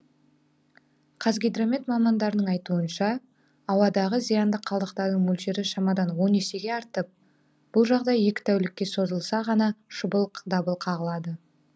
қазгидромет мамандарының айтуынша ауадағы зиянды қалдықтардың мөлшері шамадан он есеге артып бұл жағдай екі тәулікке созылса ғана шұғыл дабыл қағылады